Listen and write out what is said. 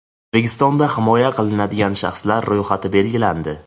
O‘zbekistonda himoya qilinadigan shaxslar ro‘yxati belgilandi.